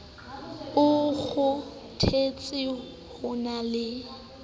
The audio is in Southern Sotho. o kgothetse ho na le